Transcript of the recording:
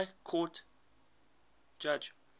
high court judge